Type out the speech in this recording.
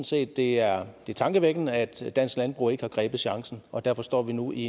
set det er tankevækkende at dansk landbrug ikke har grebet chancen og derfor står vi nu i